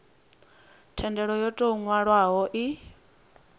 thendelo yo tou nwalwaho i